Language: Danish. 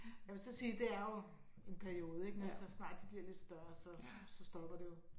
Jeg vil så sige det er jo en periode ik men så snart de bliver lidt større så så stopper det jo